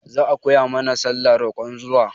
Za a koya mana sallah roƙon ruwa